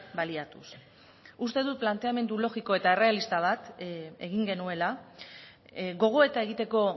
baliatuz uste dut planteamendu logiko eta errealista bat egin genuela gogoeta egiteko